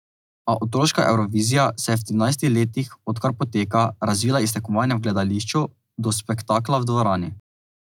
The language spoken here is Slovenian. A otroška Evrovizija se je v trinajstih letih, od kar poteka, razvila iz tekmovanja v gledališču do spektakla v dvorani.